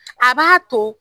A b'a to